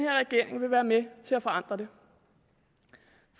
regering vil være med til at forandre det